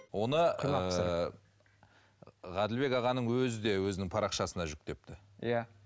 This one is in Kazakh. оны ғаділбек ағаның өзі де өзінің парақшасына жүктепті иә